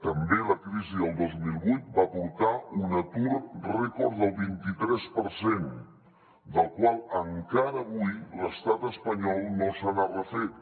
també la crisi del dos mil vuit va portar un atur rècord del vint i tres per cent del qual encara avui l’estat espanyol no se n’ha refet